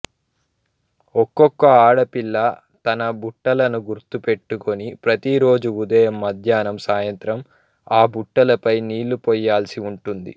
ఒక్కొక్క ఆడపిల్ల తన బుట్టను గుర్తుపెట్టుకొని ప్రతిరోజు ఉదయం మధ్యాహ్నం సాయంత్రం ఆ బుట్టలపై నీళ్లుపోయాల్సి ఉంటుంది